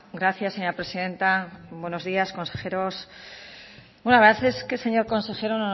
gracias señora presidenta buenos días consejeros bueno la verdad es que señor consejero